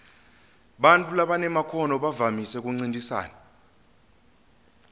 bantfu labanemakhono bavamise kuncintisana